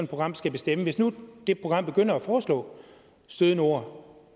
program skal bestemme hvis nu det program begynder at foreslå stødende ord